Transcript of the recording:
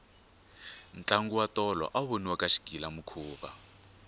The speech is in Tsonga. ntlango wa tolo awu voniwa ka xigilamikhuva